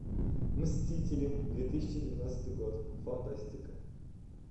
мстители две тысячи двенадцатый год фантастика